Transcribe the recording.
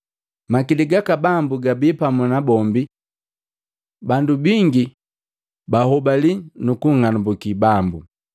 Makili gaka Bambu gabii pamu nabombi bandu bingi bahobali nukunng'anambuki Bambu.